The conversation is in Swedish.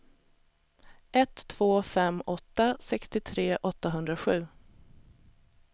ett två fem åtta sextiotre åttahundrasju